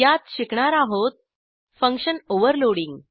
यात शिकणार आहोत फंक्शन ओव्हरलोडिंग